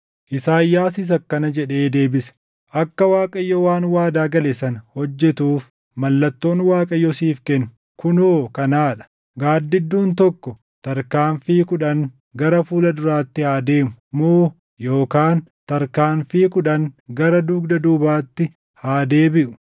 Isaayyaasis akkana jedhee deebise; “Akka Waaqayyo waan waadaa gale sana hojjetuuf mallattoon Waaqayyo siif kennu kunoo kanaa dha; gaaddidduun tokko tarkaanfii kudhan gara fuula duraatti haa deemuu moo yookaan tarkaanfii kudhan gara dugda duubaatti haa deebiʼuu?”